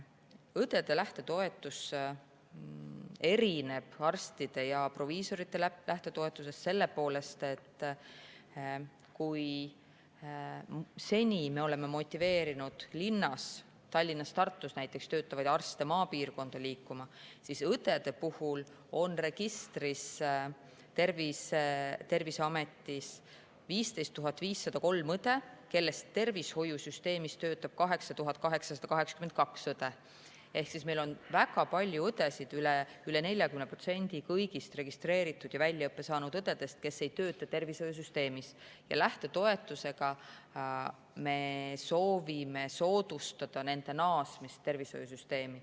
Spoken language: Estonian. Õdede lähtetoetus erineb arstide ja proviisorite lähtetoetusest selle poolest, et kui me oleme motiveerinud linnas töötavaid, näiteks Tallinnas ja Tartus töötavaid arste maapiirkonda liikuma, siis õdesid on Terviseameti registris 15 503, kellest tervishoiusüsteemis töötab 8882, ehk väga paljud õed, üle 40% kõigist registreeritud ja väljaõppe saanud õdedest, ei tööta tervishoiusüsteemis, ja lähtetoetusega me soovime soodustada nende naasmist tervishoiusüsteemi.